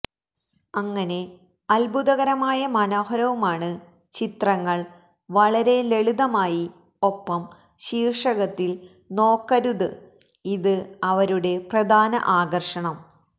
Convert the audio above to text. അങ്ങനെ അത്ഭുതകരമായ മനോഹരവുമാണ് ചിത്രങ്ങൾ വളരെ ലളിതമായി ഒപ്പം ശീർഷകത്തിൽ നോക്കരുത് ഇത് അവരുടെ പ്രധാന ആകർഷണം